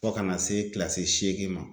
Fo kana se kilasi seegin ma